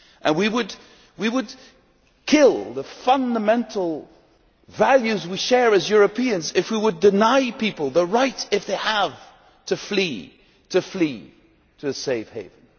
We would kill the fundamental values we share as Europeans if we would deny people the right if they have to flee to flee to a safe haven.